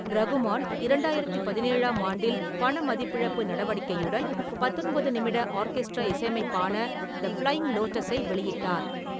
ரகுமான் இரண்டாயிரத்து பதினேழாம் ஆண்டில் பணமதிப்பிழப்பு நடவடிக்கையுடன் பத்தொன்பது நிமிட ஆர்கெஸ்ட்ரா இசையமைப்பான 'தி ஃப்ளையிங் லோட்டஸ்' ஐ வெளியிட்டார்.